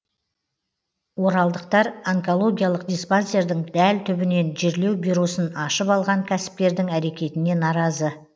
оралдықтар онкологиялық диспансердің дәл түбінен жерлеу бюросын ашып алған кәсіпкердің әрекетіне наразы